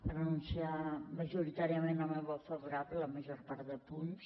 per anunciar majoritàriament el meu vot favorable a la major part de punts